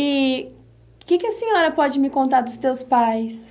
E o que que a senhora pode me contar dos teus pais?